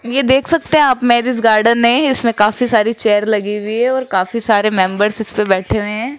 ये देख सकते हैं आप मैरिज गार्डन है इसमें काफी सारी चेयर लगी हुई है और काफी सारे मेंबर्स इसपे बैठे हुए हैं।